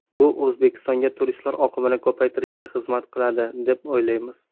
Bu O‘zbekistonga turistlar oqimini ko‘paytirishga xizmat qiladi, deb o‘ylaymiz.